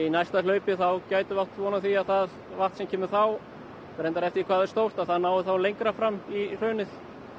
næsta hlaupi þá gætum við átt von á því að það vatn sem kemur þá reyndar eftir því hvað það er stórt að það nái lengra fram í hraunið